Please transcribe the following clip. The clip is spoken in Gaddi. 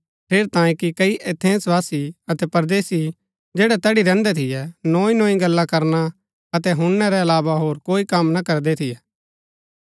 ठेरैतांये कि कई एथेंसवासी अतै परदेसी जैड़ै तैड़ी रैहन्दै थियै नोई नोई गल्ला करना अतै हुणनै रै अलावा हो कोई कम ना करदै थियै